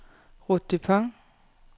Ruth Dupont